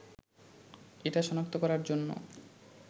এটা শনাক্ত করার জন্য